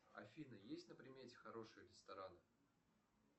афина есть на примете хороший ресторан